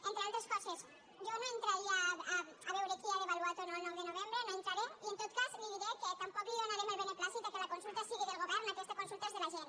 entre altres coses jo no entraria a veure qui ha devaluat o no el nou de novembre no hi entraré i en tot cas li diré que tampoc li donarem el beneplàcit al fet que la consulta sigui del govern aquesta consulta és de la gent